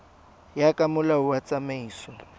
ya ka molao wa tsamaiso